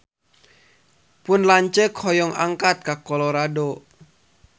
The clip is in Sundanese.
Pun lanceuk hoyong angkat ka Colorado